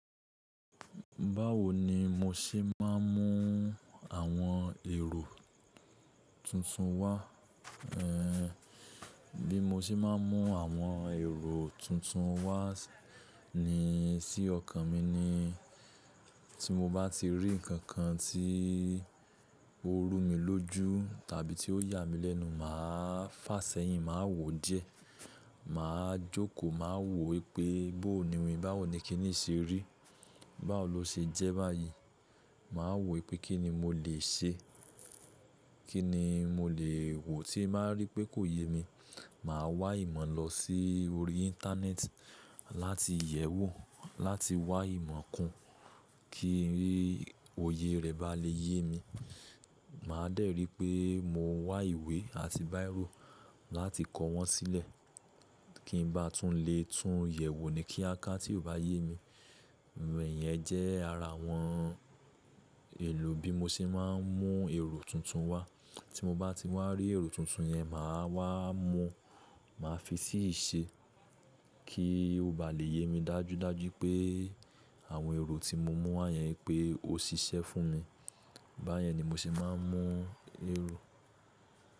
Báwo ni mo ṣe máa ń mú àwọn èrò tuntun wá? Ehn, bí mo ṣe máa ń mú àwọn èrò tuntun wá ni sí ọkàn mi ni tí mo bá ti rí nǹkan tí ó rú mi lójú tàbí tí ó yà mí lẹ́nu, màá fàsẹ́yìn, màá wò ó jẹ, màá jókòó, màá wò ó pé bó ni wí, báwo ni kí nì ṣe rí, báwo lo ṣe jẹ́ báyìí. Màá wò ó pé kí ni mo lè ṣe, kí ni mo lè wò ó tí màá rí pé kò yé mi, màá wá ìmọ̀ lọ sí orí Íńtánẹ́ẹ̀tì láti yẹ̀ wò ó, láti wá ìmọ̀ kún kí òye rẹ̀ bá lè yé mi. Màá dẹ́rìí pé mo wá ìwé àti báírò láti kọ wọn sílẹ̀ kí n bá tún lè tún yẹ̀ wò ó ní kíákíá tí kò bá yé mi. Ìyẹn jẹ́ ara àwọn èlò bí mo ṣe máa ń mú èrò tuntun wá. Tí mo bá ti wá rí èrò tuntun yẹn, màá wá mu, màá fi sí i ṣe kí ó bá lè yé mi dájúdájú pé àwọn èrò tí mo mú wá yẹn pé ó ṣiṣẹ́ fún mi. Báyẹn ni mo ṣe máa ń mú èrò.